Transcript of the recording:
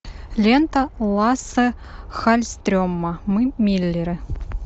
лента лассе халльстрема мы миллеры